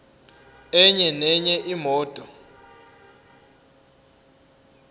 enye nenye imoto